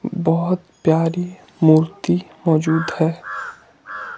बहोत प्यारी मूर्ति मौजूद हैं।